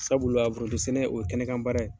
Sabula foronto sɛnɛ, o ye kɛnɛkan baara ye.